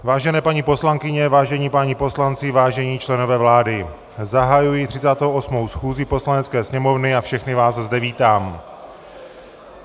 Vážené paní poslankyně, vážení páni poslanci, vážení členové vlády, zahajuji 38. schůzi Poslanecké sněmovny a všechny vás zde vítám.